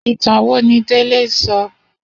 Itàn wó ni Dele sò?